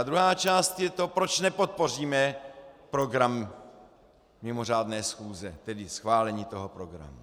A druhá část je to, proč nepodpoříme program mimořádné schůze, tedy schválení toho programu.